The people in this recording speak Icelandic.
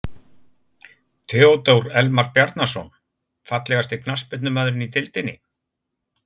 Theodór Elmar Bjarnason Fallegasti knattspyrnumaðurinn í deildinni?